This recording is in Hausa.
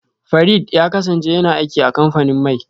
Farid ya kasance yana aiki a kamfanin mai